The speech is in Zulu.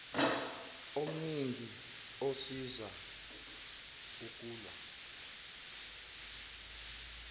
omningi osiza ukulw